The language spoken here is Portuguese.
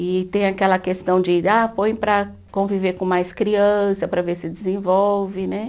E tem aquela questão de, ah, põe para conviver com mais criança, para ver se desenvolve, né?